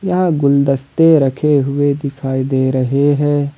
यहां गुलदस्ते रखे हुए दिखाई दे रहे हैं।